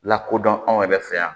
Lakodɔn anw yɛrɛ fɛ yan